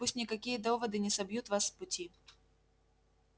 пусть никакие доводы не собьют вас с пути